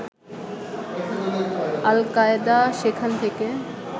আল Qaeda সেখান থেকে